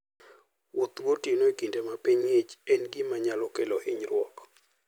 Wuoth gotieno e kinde ma piny ng'ich en gima nyalo kelo hinyruok.